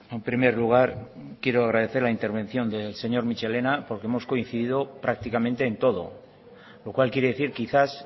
en primer lugar quiero agradecer la intervención del señor michelena porque hemos coincidido prácticamente en todo lo cual quiere decir quizás